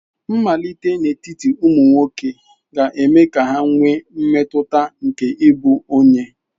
Mmalite n'etiti ụmụ nwoke ga-eme ka ha nwee mmetụta nke ịbụ onye.